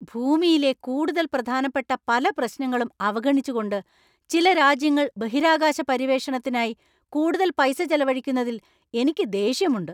ഭൂമിയിലെ കൂടുതൽ പ്രധാനപ്പെട്ട പല പ്രശ്നങ്ങളും അവഗണിച്ചുകൊണ്ട് ചില രാജ്യങ്ങൾ ബഹിരാകാശ പര്യവേഷണത്തിനായി കൂടുതൽ പൈസ ചെലവഴിക്കുന്നതിൽ എനിക്ക് ദേഷ്യമുണ്ട്.